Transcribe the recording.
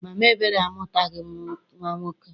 Mama Ebere amụtaghị nnwa nwoke.